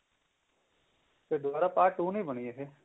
ਫ਼ੇਰ ਦੁਬਾਰਾ part two ਨੀ ਬਣੀ ਇਹ